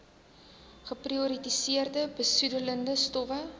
geprioritoriseerde besoedelende stowwe